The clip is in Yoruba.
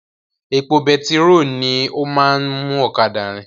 Epo betiró ni ó máa ń mú ọ̀kadà rin